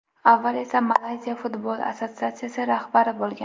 Avval esa Malayziya Futbol assotsiatsiyasi rahbari bo‘lgan.